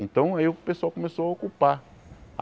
Então aí o pessoal começou a ocupar.